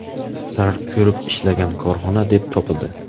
zarar ko‘rib ishlagan korxona deb topildi.